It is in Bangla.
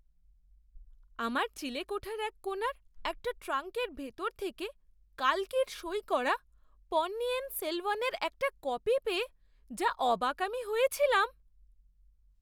আমার চিলেকোঠার এক কোণার একটা ট্রাঙ্কের ভেতর থেকে কাল্কির সই করা পন্নিয়িন সেলভানের একটা কপি পেয়ে যা অবাক আমি হয়েছিলাম!